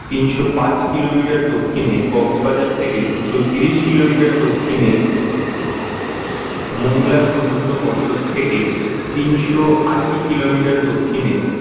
তিনশো পাঁচ kilometer র দক্ষিণে কক্সবাজার থেকে দুশো তিরিশ kilometer র দক্ষিণে মংলা সমুদ্র বন্দর থেকে তিনশো আশি kilometer র দক্ষিণে